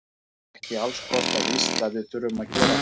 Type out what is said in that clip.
Það er ekki alls kostar víst að við þurfum að gera það.